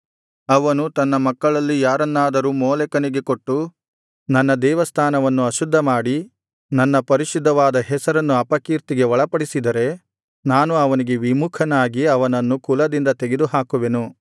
ಅವನು ತನ್ನ ಮಕ್ಕಳಲ್ಲಿ ಯಾರನ್ನಾದರೂ ಮೋಲೆಕನಿಗೆ ಕೊಟ್ಟು ನನ್ನ ದೇವಸ್ಥಾನವನ್ನು ಅಶುದ್ಧಮಾಡಿ ನನ್ನ ಪರಿಶುದ್ಧವಾದ ಹೆಸರನ್ನು ಅಪಕೀರ್ತಿಗೆ ಒಳಪಡಿಸಿದರೆ ನಾನು ಅವನಿಗೆ ವಿಮುಖನಾಗಿ ಅವನನ್ನು ಕುಲದಿಂದ ತೆಗೆದುಹಾಕುವೆನು